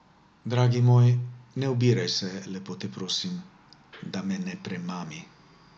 Dragi moj, ne obiraj se lepo te prosim, da me ne premami.